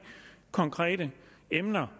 konkrete emner